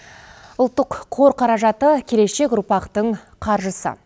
ұлттық қор қаражаты келешек ұрпақтың қаржысы